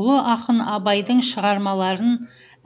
ұлы ақын абайдың шығармалары